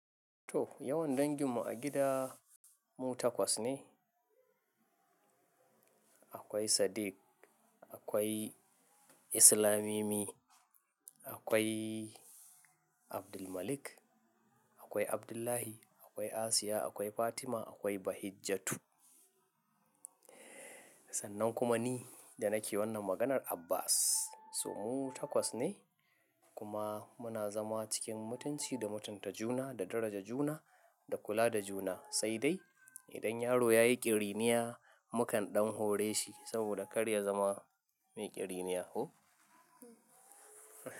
To, yawan danginmu a gida mu takwas ne. Akwai Sadiq, akwai Islamimi, akwai Abdulmalik, akwai Abdullahi, akwai Asiya, akwai Fatima, akwai Bahijjatu. Sannan kuma ni da nake wannan maganar Abbas. So, mu takwas ne kuma muna zama cikin mutunci da mutunta juna da daraja juna da kula da juna. Sai dai idan yaro ya yi ƙiriniya, mukan ɗan hore shi saboda kar ya zama mai ƙiriniya ko?